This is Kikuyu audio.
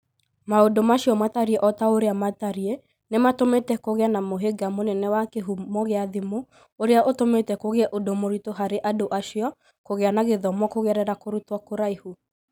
Maũndũ macio matariĩ o ta ũrĩa matariĩ, nĩ matũmĩte kũgĩe na mũhĩnga mũnene wa kĩhumo gĩa thimũ ũrĩa ũtũmĩte kũgĩe ũndũ mũritũ harĩ andũ acio kũgĩa na gĩthomo kũgerera kũrutwo kũraihu.